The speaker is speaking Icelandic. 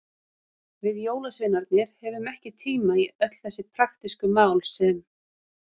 Við jólasveinarnir höfum ekki tíma í öll þessi praktísku mál sem.